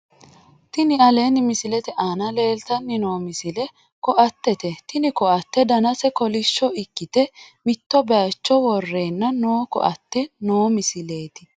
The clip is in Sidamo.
Tini aleenni misilete aana leeltanni noo misile koattete tini koatte danase kolishsho ikkite mitto baycho worreenna noo koatte noo misileeti